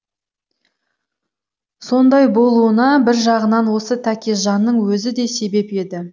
сондай болуына бір жағынан осы тәкежанның өзі де себеп еді